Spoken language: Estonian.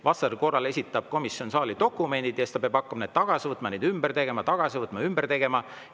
Vastasel korral esitab komisjon saali dokumendid ja siis peab hakkama neid tagasi võtma, neid ümber tegema, tagasi võtma ja ümber tegema.